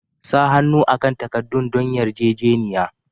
Sa hannu akan takaddun don yarjejeniya.